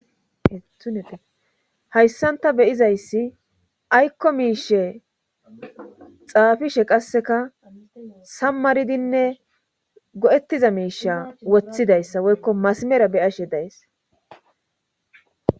hayssanta beyizayssi aykko miishe xaafishe qasseka sammaridinne go7ettiza miisha woththidayssa woykko masimera beyashe days